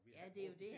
Ja det jo det